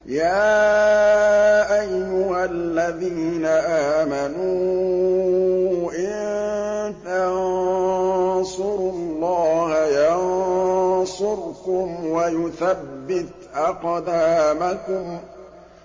يَا أَيُّهَا الَّذِينَ آمَنُوا إِن تَنصُرُوا اللَّهَ يَنصُرْكُمْ وَيُثَبِّتْ أَقْدَامَكُمْ